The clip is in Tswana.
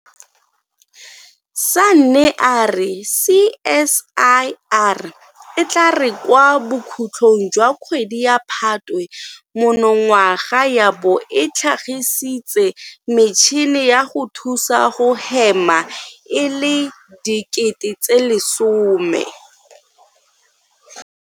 Sanne a re CSIR e tla re kwa bokhutlong jwa kgwedi ya Phatwe monongwaga ya bo e tlhagisitse metšhini ya go thusa go hema e le 10 000.